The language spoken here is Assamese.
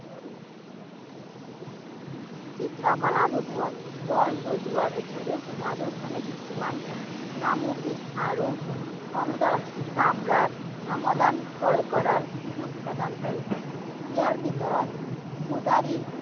চিত্ৰকলাৰ ৰূপত ঘৰ সজোৱাৰ উপৰিও ৰাজস্থানে কিছুমান আৰু চামৰাত সমাধান ক্ৰয় কৰাৰ সুযোগ প্ৰদান কৰে৷ ইয়াৰ ভিতৰত মুজাৰি